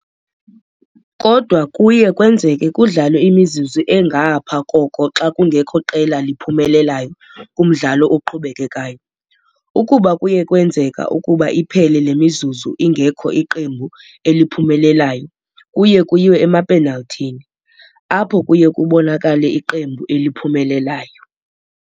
Kodwa kuye kwenzeke kudlalwe imizuzu engapha koko xa kungekho qela liphumelelayo kumdlalo oqhubekekayo. Ukuba kuye kwenzeka ukuba iphele le mizuzu ingekho iqembu eliphumelelayo kuye kuyiwe emapenal'thini, apho kuye kubonakale iqembu eliphumelelayo.